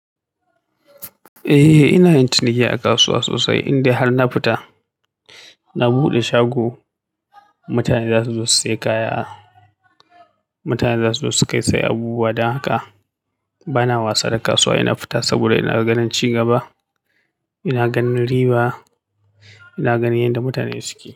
Eh, ina yin ciniki a kasuwa sosai indai har na fita na buɗe shago. Mutane za su zo su sayi kaya, mutane za su zo su kai sayi abubuwa. Don haka bana wasa da kasuwa ina fita saboda ina ganin cigaba, ina ganin riba, ina ganin yadda mutane suke.